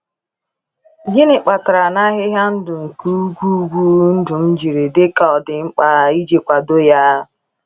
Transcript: Gịnị kpatara na ahịhịa ndụ nke ugwu ugwu dum jiri dị ka ọ dị mkpa iji kwado ya!